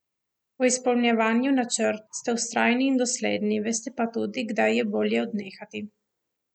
V izpolnjevanju načrtov ste vztrajni in dosledni, veste pa tudi, kdaj je bolje odnehati.